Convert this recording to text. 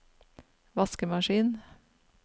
vaskemaskin